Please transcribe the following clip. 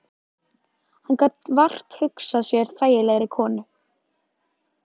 Hann gat vart hugsað sér þægilegri konu.